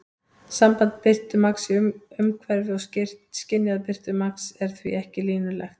Samband birtumagns í umhverfi og skynjaðs birtumagns er því ekki línulegt.